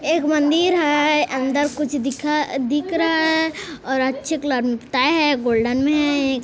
एक मंदिर है अंदर कुछ दिखा दिख रहा है और अच्छे कलर में पुताया है गोल्डन में है एक--